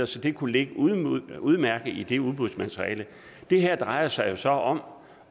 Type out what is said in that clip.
så det kunne ligge udmærket i det udbudsmateriale det her drejer sig jo så om